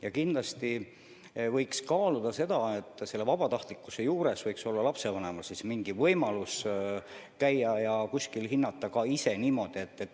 Ja kindlasti võiks kaaluda seda, et asi on vabatahtlik, et lapsevanemal on mingi võimalus käia kuskil last hindamas või hinnata teda hoopis ise.